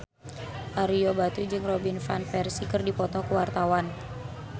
Ario Batu jeung Robin Van Persie keur dipoto ku wartawan